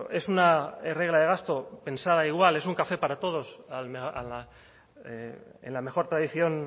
es una regla de gasto pensaba igual es un café para todos en la mejor tradición